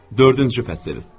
Dördüncü fəsil.